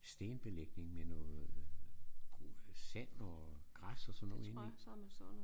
Stenbelægning med noget øh sand og græs og sådan noget indeni